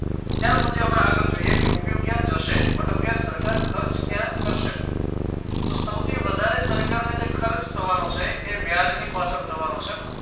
ત્યાર પછી આપણે આગળ જઈએ કે રૂપિયો ક્યાં જશે મતલબ ક્યાં સરકાર ખર્ચ ક્યાં કરશે તો સૌથી વધારે સરકાર ને જે ખર્ચ થવાનો છે એ વ્યાજ ની પાછળ થવાનો છે